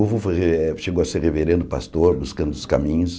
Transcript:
O vovô fazia eh chegou a ser reverendo pastor, buscando os caminhos.